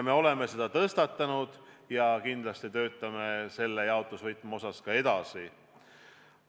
Me oleme selle teema tõstatanud ja kindlasti töötame selle jaotusvõtme osas edasi.